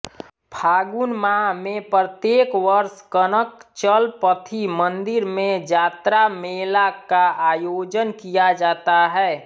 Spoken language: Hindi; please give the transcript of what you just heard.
फागुन माह में प्रत्येक वर्ष कनकचलपथी मंदिर में जात्रा मेला का आयोजन किया जाता है